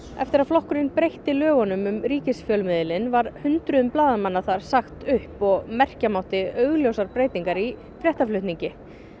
eftir að flokkurinn breytti lögunum um ríkisfjölmiðilinn var hundruðum blaðamanna þar sagt upp og merkja mátti augljósar breytingar í fréttaflutningi